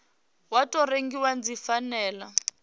wa tou rengiwa dzi fanela